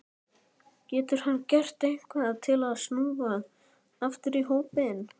Getur hann gert eitthvað til að snúa aftur í hópinn?